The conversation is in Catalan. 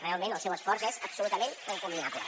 realment el seu esforç és absolutament encomiable